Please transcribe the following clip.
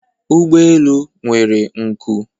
ụgbọ elu nwere nku